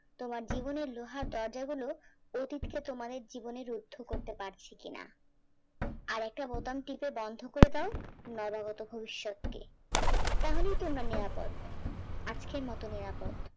তোমার জীবনের লোহার দরজা গুলো অতীতকে তোমার জীবনের রুদ্ধ করতে পারছি কিনা আর একটা বোতাম টিপে বন্ধ করে দাও তাহলেই তো মনে আপদ আজকের মত নিরাপদ।